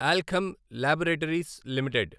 Alkem Laboratories limited